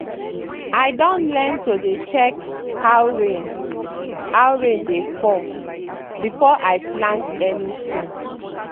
i don learn to dey check how rain how rain dey fall before i plant anything.